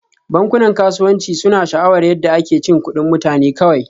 Bankunan kasuwanci suna sha'awar yadda ake cin kuɗin mutane kawai